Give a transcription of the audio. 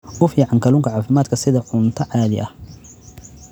U fiican Kalluunka Caafimaadka sida cunto caadi ah.